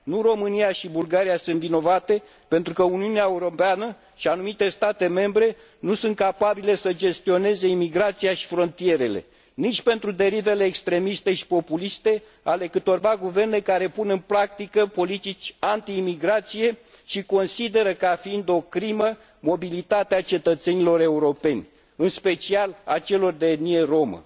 Nu România și Bulgaria sunt vinovate pentru că Uniunea Europeană și anumite state membre nu sunt capabile să gestioneze imigrația și frontierele și nici pentru derivele extremiste și populiste ale câtorva guverne care pun în practică politici antiimigrație și consideră ca fiind o crimă mobilitatea cetățenilor europeni, în special a celor de etnie romă.